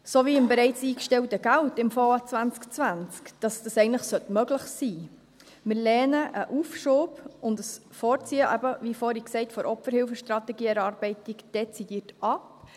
Wie vorhin gesagt, lehnen wir einen Aufschub und ein Vorziehen der Erarbeitung der Opferhilfestrategie dezidiert ab.